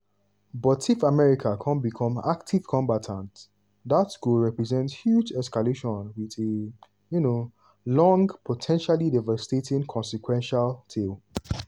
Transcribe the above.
but if america kon become active combatant dat go represent huge escalation wit a um long po ten tially devastating consequential tail.